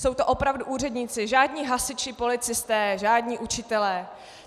Jsou to opravdu úředníci, žádní hasiči, policisté, žádní učitelé.